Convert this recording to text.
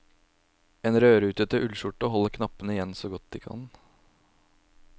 En rødrutete ullskjorte holder knappene igjen så godt de kan.